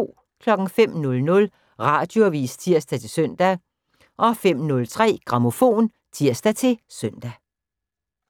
05:00: Radioavis (tir-søn) 05:03: Grammofon (tir-søn)